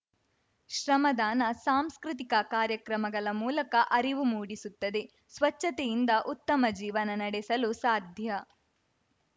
ಶ್ರಮದಾನ ಸಾಂಸ್ಕೃತಿಕ ಕಾರ್ಯಕ್ರಮಗಳ ಮೂಲಕ ಅರಿವು ಮೂಡಿಸುತ್ತದೆ ಸ್ವಚ್ಚತೆಯಿಂದ ಉತ್ತಮ ಜೀವನ ನಡೆಸಲು ಸಾಧ್ಯ